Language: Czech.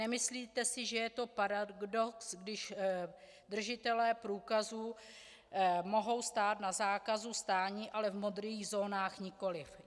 Nemyslíte si, že je to paradox, když držitelé průkazů mohou stát na zákazu stání, ale v modrých zónách nikoliv?